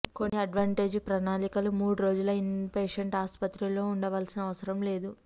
కొన్ని అడ్వాంటేజ్ ప్రణాళికలు మూడు రోజుల ఇన్పేషెంట్ ఆసుపత్రిలో ఉండవలసిన అవసరం లేదు